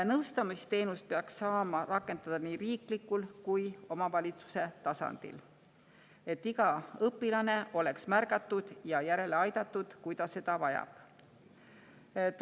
Nõustamisteenust peaks saama rakendada nii riiklikul kui ka omavalitsuse tasandil, et igat õpilast märgataks ja aidataks järele, kui ta seda vajab.